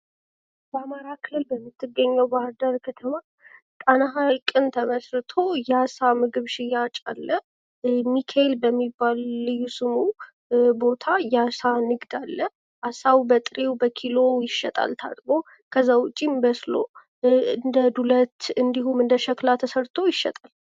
በአማራ ክልል በምትገኘው ባህርዳር ከተማ ጣና ሀይቅን ተመስርቶ የአሳ ምግብ ሽያጭ አለ ሚካኤል በሚባል ልዩ ስሙ ቦታ የአሳ ንግድ አለ አሳው በጥሬው በኪሎው ይሸጣል። ከዛ ውጭም በስሎ እንደ ዱለት እንድሁም እንደሸክላ ተሰርቶ ይሸጣል።